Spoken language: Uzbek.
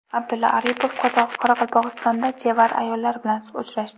Abdulla Aripov Qoraqalpog‘istonda chevar ayollar bilan uchrashdi.